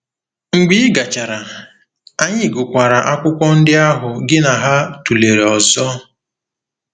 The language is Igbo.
Mgbe ị gachara, anyị gụkwara akwụkwọ ndị ahụ gị na ha tụlere ọzọ.